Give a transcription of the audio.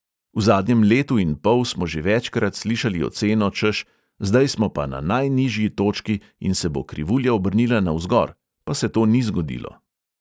V zadnjem letu in pol smo že večkrat slišali oceno, češ – zdaj smo pa na najnižji točki in se bo krivulja obrnila navzgor, pa se to ni zgodilo.